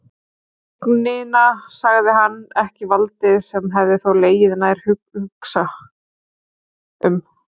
Tignina, sagði hann, ekki valdið, sem hefði þó legið nær að hugsa um.